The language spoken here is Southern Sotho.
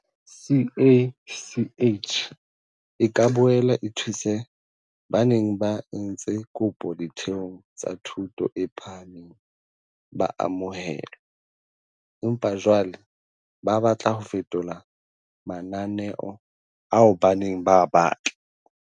CACH e ka boela e thuse ba neng ba entse kopo ditheong tsa thuto e phahameng ba amohelwa, empa jwale ba batla ho fetola mananeo ao ba neng ba a batla.